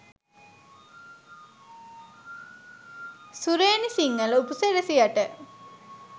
සුරේනි සිංහල උපසිරැසියට.